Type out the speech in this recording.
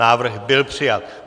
Návrh byl přijat.